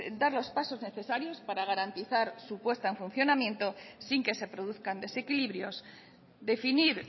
dar los pasos necesarios para garantizar su puesta en funcionamiento sin que se produzcan desequilibrios definir